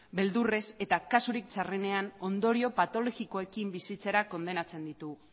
beldurrez eta kasurik txarrenean ondorio patologikoekin bizitzera kondenatzen ditu